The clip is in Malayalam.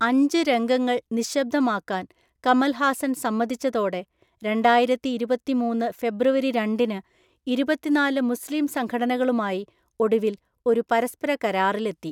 അഞ്ച് രംഗങ്ങൾ നിശബ്ദമാക്കാൻ കമൽ ഹാസൻ സമ്മതിച്ചതോടെ രണ്ടായിരത്തിഇരുപത്തിമൂന്ന് ഫെബ്രുവരി രണ്ടിന് ഇരുപത്തിനാല് മുസ്ലീം സംഘടനകളുമായി ഒടുവിൽ ഒരു പരസ്പര കരാറിലെത്തി.